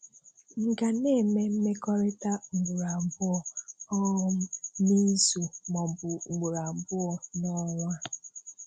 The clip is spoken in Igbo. M ga na-eme mmekọrịta ugboro abụọ um n'izu maọbụ ugboro abụọ n'ọnwa?